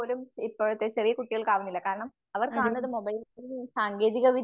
അതെ